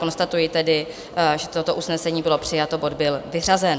Konstatuji tedy, že toto usnesení bylo přijato, bod byl vyřazen.